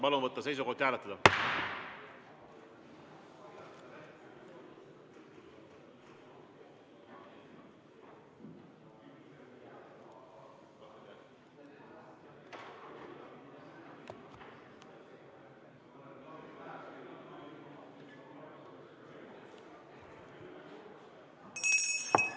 Palun võtta seisukoht ja hääletada!